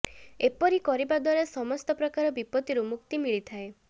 ଏପରି କରିବା ଦ୍ୱାରା ସମସ୍ତ ପ୍ରକାର ବିପତ୍ତିରୁ ମୁକ୍ତି ମିଳିଥାଏ